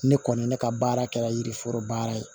Ne kɔni ne ka baara kɛra yiri foro baara ye